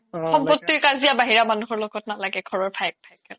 সম্পোতিৰ কাজিয়া বাহিৰা মানুহৰ লগত নালাগে ঘৰৰ ভাইয়ে ভাইয়ে লাগে